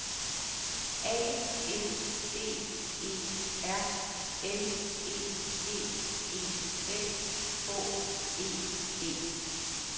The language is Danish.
A N D E R L E D E S H E D